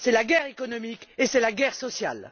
C'est la guerre économique et c'est la guerre sociale!